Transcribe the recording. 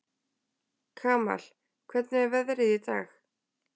Kamal, hvernig er veðrið í dag?